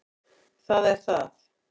Það er það